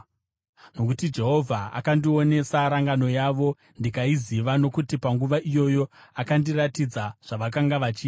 Nokuti Jehovha akandionesa rangano yavo, ndikaiziva, nokuti panguva iyoyo akandiratidza zvavakanga vachiita.